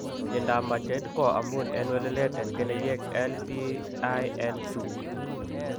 Myondap majeed ko amun en welelet en keneyeek LPIN2.